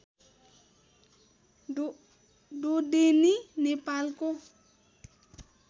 ढोडेनी नेपालको